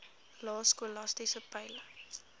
lae skolastiese peile